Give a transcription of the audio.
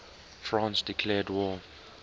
france declared war